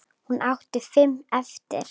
Hún átti fimm eftir.